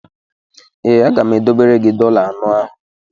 Ee, aga m edobere gị dọla anọ ahụ.